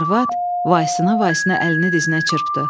Arvad vaisına-vaisına əlini dizinə çırpdı.